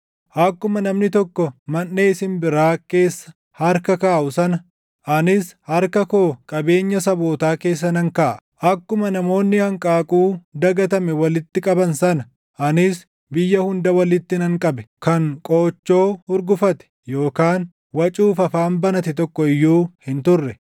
Akkuma namni tokko manʼee simbiraa keessa harka kaaʼu sana anis harka koo qabeenya sabootaa keessa nan kaaʼa; akkuma namoonni hanqaaquu dagatame walitti qaban sana, anis biyya hunda walitti nan qabe; kan qoochoo hurgufate, yookaan wacuuf afaan banate tokko iyyuu hin turre.’ ”